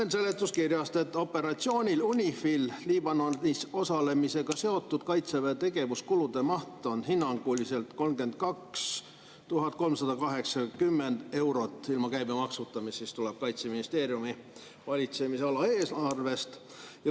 Loen seletuskirjast, et operatsioonil UNIFIL Liibanonis osalemisega seotud Kaitseväe tegevuskulude maht on hinnanguliselt 32 380 eurot ilma käibemaksuta, mis tuleb Kaitseministeeriumi valitsemisala eelarvest.